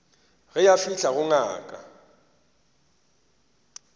ge a fihla go ngaka